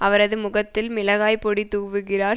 அவரது முகத்தில் மிளகாய் பொடி தூவுகிறார்